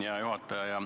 Hea juhataja!